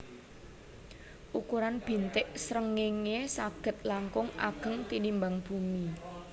Ukuran bintik srengéngé saged langkung ageng tinimbang bumi